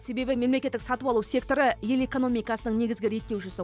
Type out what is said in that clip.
себебі мемлекеттік сатып алу секторы ел экономикасының негізгі реттеушісі